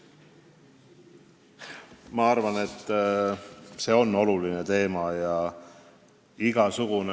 Ma arvan, et see on oluline teema.